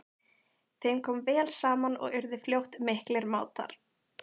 Þeim kom vel saman og urðu fljótt miklir mátar.